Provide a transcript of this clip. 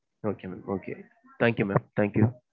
Okay mam, okay thank you mam thank you.